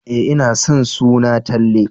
E, ina son suna Talle.